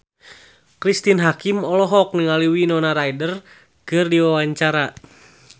Cristine Hakim olohok ningali Winona Ryder keur diwawancara